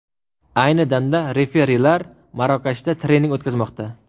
Ayni damda referilar Marokashda trening o‘tkazmoqda.